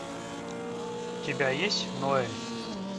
у тебя есть ноэль